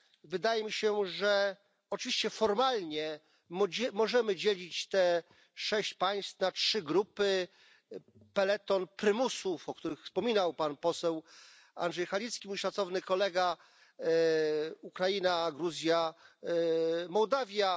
Wydaje mi się, że oczywiście formalnie możemy dzielić te sześć państw na trzy grupy peleton prymusów, o których wspominał pan poseł Andrzej Halicki, mój szacowny kolega, Ukraina, Gruzja, Mołdawia.